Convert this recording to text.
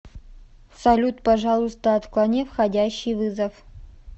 салют пожалуйста отклони входящий вызов